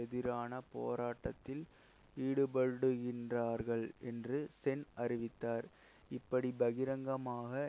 எதிரான போராட்டத்தில் ஈடுபடுகின்றார்கள் என்று சென் அறிவித்தார் இப்படி பகிரங்கமாக